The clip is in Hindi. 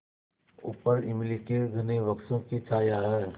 ऊपर इमली के घने वृक्षों की छाया है